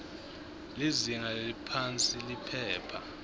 lizinga leliphansi liphepha